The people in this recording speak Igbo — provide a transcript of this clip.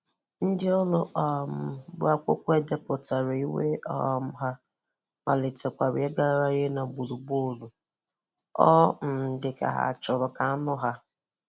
Ndị ọrụ um bụ́akwụkwọ edèpụtara ìwé um ha, malitekwara ịgagharị n’gbùrùgbọ̀rụ̀. Ọ um dị ka ha chọrọ ka a nụ ha.